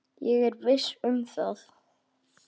Ég er viss um það.